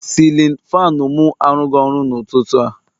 Sịlịn faanụ mụ arụghi ọrụ n'ụtụtụ a